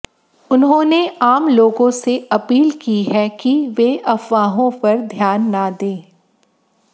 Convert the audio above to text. उन्होंने आम लोगों से अपील की है कि वे अफवाहों पर ध्यान ना दें